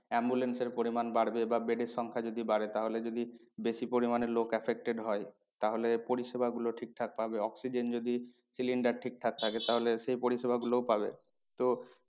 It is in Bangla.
Ambulance এর পরিমান বাড়বে বা bed এর সংখ্যা যদি বাড়ে তাহলে যদি বেশি পরিমানে লোক affected হয় তাহলে পরিষেবা গুলো ঠিক ঠাক পাবে oxygen যদি cylinder ঠিকঠাক থাকে তাহলে সেই পরিষেবা গুলোও পাবে। তো